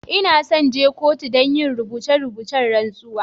N'na son je kotu dan yin rubutacen rantsuwa.